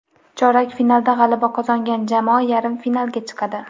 Chorak finalda g‘alaba qozongan jamoa yarim finalga chiqadi.